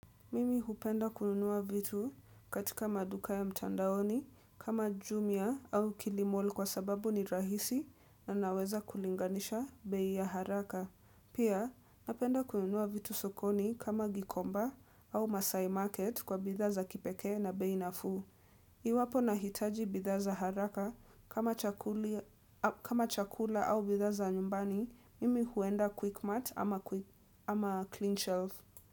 Mimi hupenda kununua vitu katika maduka ya mtandaoni kama jumia au kilimall kwa sababu ni rahisi na naweza kulinganisha bei ya haraka. Pia napenda kununua vitu sokoni kama gikomba au masai market kwa bidhaa za kipekee na bei nafuu. Iwapo nahitaji bidhaa za haraka kama chukulia kama chakula au bidhaa za nyumbani, mimi huenda quick mart ama clean shelf.